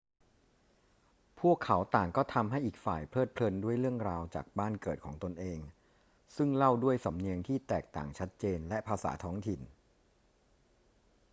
พวกเขาต่างก็ทำให้อีกฝ่ายเพลิดเพลินด้วยเรื่องราวจากบ้านเกิดของตนเองซึ่งเล่าด้วยสำเนียงที่แตกต่างชัดเจนและภาษาท้องถิ่น